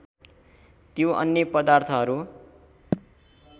त्यो अन्य पदार्थहरू